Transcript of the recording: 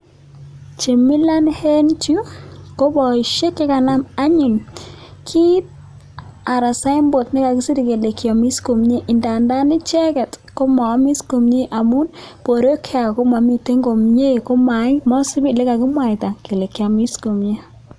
Chemilan en Yu ko baishek chekanam anyun kit anan saimbost nekakisir kiamis komie ndandan icheket Koma Yami's komie ngamun borwek chwak komamiten komie komait komaisib olekakimwaita Kole kiamis komie